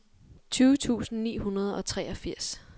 tyve tusind ni hundrede og treogfirs